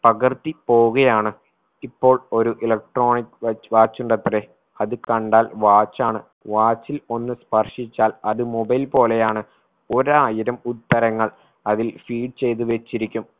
പകർത്തി പോവുകയാണ് ഇപ്പോൾ ഒരു electronic വ watch ഉണ്ടത്രേ അത് കണ്ടാൽ watch ആണ് watch ൽ ഒന്ന് സ്പർശിച്ചാൽ അത് mobile പോലെയാണ് ഒരായിരം ഉത്തരങ്ങൾ അതിൽ feed ചെയ്തുവച്ചിരിക്കും